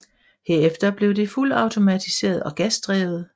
Herefter blev det fuldautomatiseret og gasdrevet